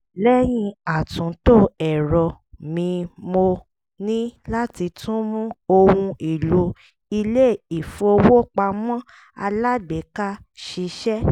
lẹ́yìn àtúntò ẹ̀rọ mi mo ní láti tún mú ohun èlò ilé-ifowópamọ́ alágbèéká ṣiṣẹ́